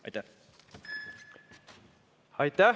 " Aitäh!